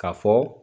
Ka fɔ